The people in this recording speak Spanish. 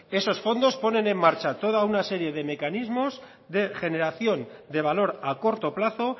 esos fondos ponen en marcha toda una serie de mecanismos de generación de valor a corto plazo